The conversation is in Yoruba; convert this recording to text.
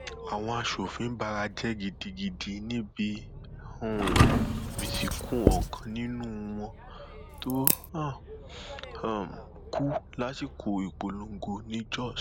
àwọn aṣòfin bara jẹ gidigidi níbi um ìsìnkú ọkàn nínú wọn tó um kú lásìkò ìpolongo ni jóṣ